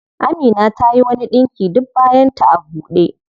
Amina tayi wani ɗinki duk bayan ta a ɓude.